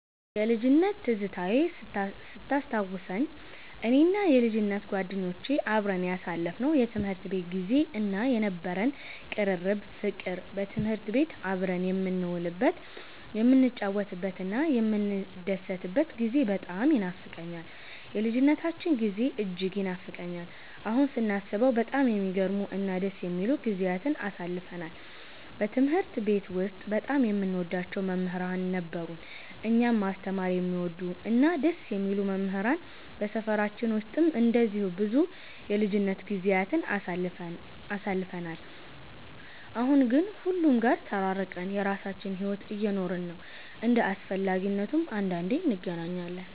የልጅነት ትዝታዬን ስታስታውሰኝ፣ እኔና የልጅነት ጓደኞቼ አብረን ያሳለፍነው የትምህርት ቤት ጊዜ እና የነበረን ቅርርብ ፍቅር፣ በትምህርት ቤት አብረን የምንውልበት፣ የምንጫወትበትና የምንደሰትበት ጊዜ በጣም ይኖፋቀኛል። የልጅነታችን ጊዜ እጅግ ይናፍቀኛል። አሁን ስናስበው በጣም የሚገርሙ እና ደስ የሚሉ ጊዜያትን አሳልፈናል። በትምህርት ቤት ውስጥ በጣም የምንወዳቸው መምህራን ነበሩን፤ እኛን ማስተማር የሚወዱ እና ደስ የሚሉ መምህራን። በሰፈራችን ውስጥም እንደዚሁ ብዙ የልጅነት ጊዜያትን አሳልፈን፣ አሁን ግን ሁሉም ጋር ተራርቀን የራሳችንን ሕይወት እየኖርን ነው። እንደ አስፈላጊነቱም አንዳንዴ እንገናኛለን።